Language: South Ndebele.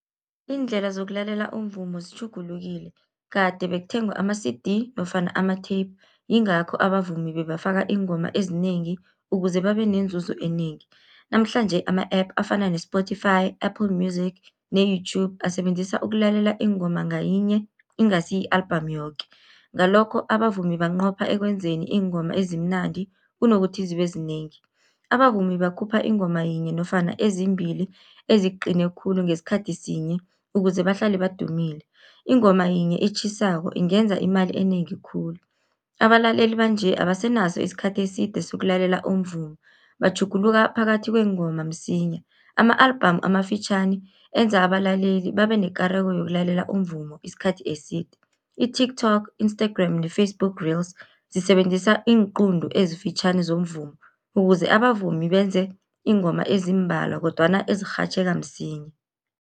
Iindlela zokulalela umvumo zitjhugulukile, kade bekuthengwa ama-C_D nofana ama-tape yingakho abavumi bebafaka iingoma ezinengi, ukuze babe nenzuzo enengi. Namhlanje ama-app afana ne-Spotify, Apple Music ne-YouTube asebenzisa ukulalela iingoma ngayinye ingasi i-album yoke. Ngalokho abavumi banqopha ekwenzeni iingoma ezimnandi, kunokuthi zibe zinengi. Abavumi bakhupha ingoma yinye nofana ezimbili eziqine khulu ngesikhathi sinye, ukuze bahlale badumile. Ingoma yinye etjhisako ingenza imali enengi khulu, abalaleli banje abasenaso isikhathi eside sokulalela umvumo, batjhuguluka phakathi kweengoma msinya. Ama-album amafitjhani enza abalaleli babe nekareko yokulalela umvumo isikhathi eside, i-TikTok, Instagram ne-Facebook reels zisebenzisa iinquntu ezifitjhani zomvumo, ukuze abavumi benze iingoma ezimbalwa kodwana ezirhatjheka msinya.